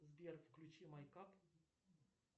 сбер включи майкап